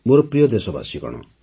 ମୋର ପ୍ରିୟ ଦେଶବାସୀଗଣ